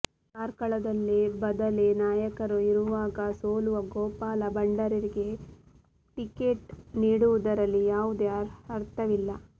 ಕಾರ್ಕಳದಲ್ಲಿ ಬದಲಿ ನಾಯಕರು ಇರುವಾಗ ಸೋಲುವ ಗೋಪಾಲ ಭಂಡಾರಿಗೆ ಟಿಕೆಟ್ ನೀಡುವುದರಲ್ಲಿ ಯಾವುದೇ ಅರ್ಥವಿಲ್ಲ